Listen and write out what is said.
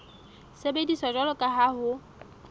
sebediswa jwalo ka ha ho